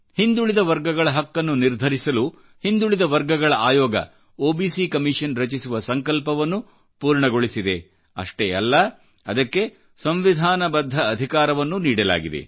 ಹಿಂದುಳಿದ ವರ್ಗಗಳಹಕ್ಕನ್ನು ನಿರ್ಧರಿಸಲು ಹಿಂದುಳಿದ ವರ್ಗಗಳ ಆಯೋಗ ಒಬಿಸಿ ಕಮಿಷನ್ ರಚಿಸುವ ಸಂಕಲ್ಪವನ್ನು ಪೂರ್ಣಗೊಳಿಸಿದೆ ಅಷ್ಟೇ ಅಲ್ಲ ಅದಕ್ಕೆಸಂವಿಧಾನಬದ್ಧ ಅಧಿಕಾರವನ್ನೂ ನೀಡಲಾಗಿದೆ